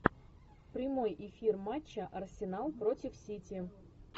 прямой эфир матча арсенал против сити